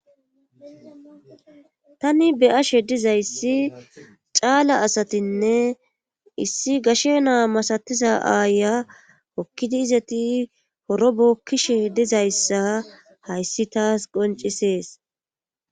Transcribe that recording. tani beyashe dizayssi caala asatinne issi gashe naa masatiza aaya kokkidi izati horo bokkishe dizayssa hayssi taas qoncisees